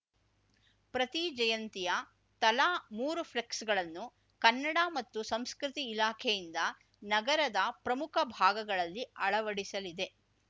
ಪ್ರತಿ ಜಯಂತಿಯ ತಲಾ ಮೂರು ಫ್ಲೆಕ್ಸ್‌ಗಳನ್ನು ಕನ್ನಡ ಮತ್ತು ಸಂಸ್ಕೃತಿ ಇಲಾಖೆಯಿಂದ ನಗರದ ಪ್ರಮುಖ ಭಾಗಗಳಲ್ಲಿ ಅಳವಡಿಸಲಿದೆ